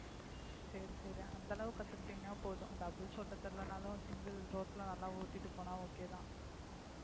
சரி சரி அந்த அளவு கத்துகிடீங்கன்னா போதும் doubles ஓட்டத் தெரியலன்னாலும் single road ல நல்லா ஓட்டிட்டு போனா okay தான்